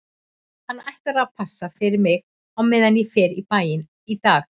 Hann ætlar að passa fyrir mig á meðan ég fer í bæinn í dag